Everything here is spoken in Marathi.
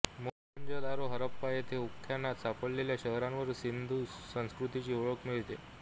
मोहंदोजरो हराप्पा येथे उत्खनात सापडलेल्या शहरांवरून सिंधू संस्कृतीची ओळख मिळते